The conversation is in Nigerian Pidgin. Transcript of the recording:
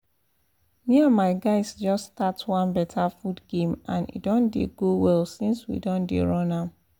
me and my guys just start one better food game and e don dey go well since we don dey run am